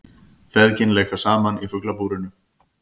Feðgin leika saman í Fuglabúrinu